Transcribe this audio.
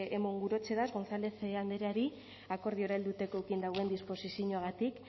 emon gurotzedaz gonzález andreari akordiora helduteko eukin dauen disposizinoagatik